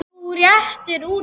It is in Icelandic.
Þú réttir úr þér.